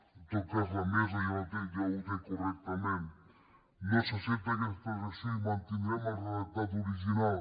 en tot cas la mesa ja ho té correctament no s’accepta aquesta transacció i mantindrem el redactat original